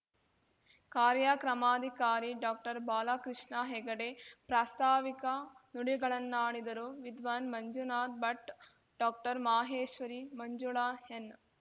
ಕಾರ್ಯಕ್ರಮಾಧಿಕಾರಿ doctor Balakrishna Hegde ಪ್ರಾಸ್ತಾವಿಕ ನುಡಿಗಳನ್ನಾಡಿದರು Vidwan Manjunath Bhat doctor Maheshwari Manjula N